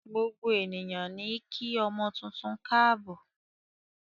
Gbogbo ènìyàn níí kí ọmọ tuntun káàbò.